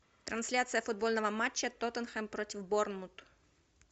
трансляция футбольного матча тоттенхэм против борнмут